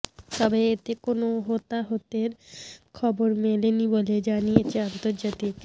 তবে এতে কোনো হতাহতের খবর মেলেনি বলে জানিয়েছে আন্তর্জাতিক